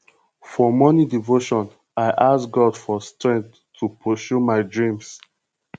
for morning devotion i ask god for strength to pursue my dreams